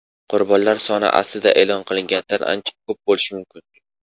qurbonlar soni aslida e’lon qilinganidan ancha ko‘p bo‘lishi mumkin.